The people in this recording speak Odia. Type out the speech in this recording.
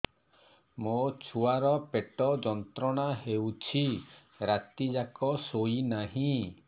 ମୋ ଛୁଆର ପେଟ ଯନ୍ତ୍ରଣା ହେଉଛି ରାତି ଯାକ ଶୋଇନାହିଁ